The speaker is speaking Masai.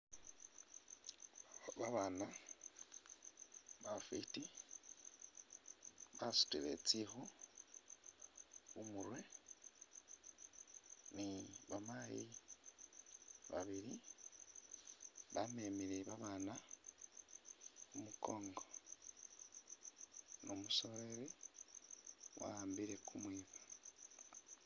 Babaana bafwiti basutile tsikhu khumurwe ni ba maayi babili bamemile babaana khumukongo ni umusoleli wa'ambile kumwiba